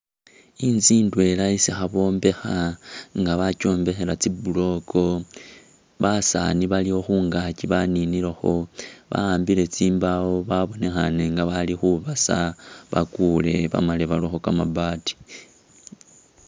Inzu idwela isi khebombekha nga bakyombekhela tsi block basani baliwo khungakyi baninilokho bakhabile tsimbawo babonekhane nga bali khubasa bagule bamale barekho kamabaati.